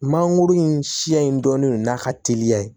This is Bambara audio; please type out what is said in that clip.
Mangoro in siya in dɔɔnin don n'a ka teliya